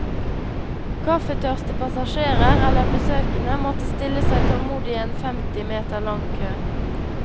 Kaffetørste passasjerer, eller besøkende, måtte stille seg tålmodig i en femti meter lang kø.